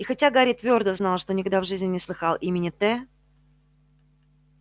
и хотя гарри твёрдо знал что никогда в жизни не слыхал имени т